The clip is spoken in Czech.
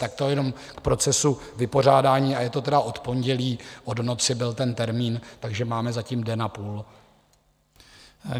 Tak to jenom k procesu vypořádání, a je to tedy od pondělí od noci, byl ten termín, takže máme zatím den a půl.